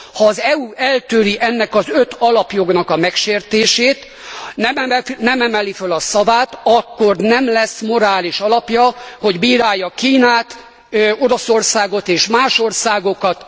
Ha az EU eltűri ennek az öt alapjognak a megsértését, nem emeli föl a szavát, akkor nem lesz morális alapja, hogy bírálja Kínát, Oroszországot és más országokat.